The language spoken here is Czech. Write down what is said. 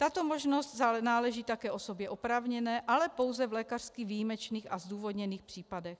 Tato možnost náleží také osobě oprávněné, ale pouze v lékařsky výjimečných a zdůvodněných případech.